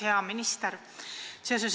Hea minister!